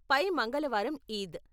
పై మంగళవారం ఈద్.